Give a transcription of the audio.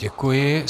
Děkuji.